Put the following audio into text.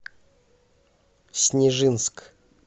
снежинск